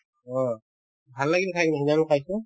অ, ভাল লাগিল খাই কিনে নিৰামিষ খাইছো